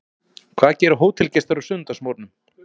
Hvað gera hótelgestir á sunnudagsmorgnum?